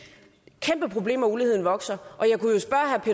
kæmpeproblem at uligheden vokser